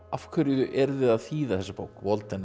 af hverju eruð þið að þýða þessa bók Walden